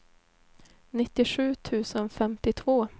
nittiosju tusen femtiotvå